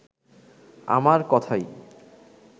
আমার কথাই